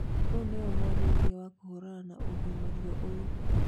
Rĩu niwe mwarĩrĩria wa kũhũrana na ũgimario ũyũ